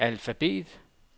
alfabet